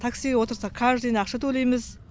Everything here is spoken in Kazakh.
таксиге отырсақ каждыйына ақша төлейміз